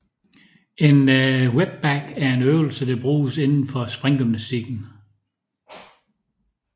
En whipback er en øvelse der bruges inden for springgymnastikken